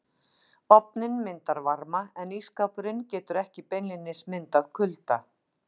Ofninn myndar varma en ísskápurinn getur ekki beinlínis myndað kulda.